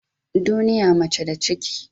Duniya mace da ciki ce.